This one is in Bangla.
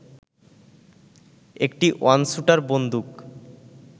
একটি ওয়ানস্যুটার বন্দুক